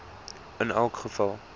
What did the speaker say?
in elke geval